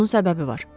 Bunun səbəbi var.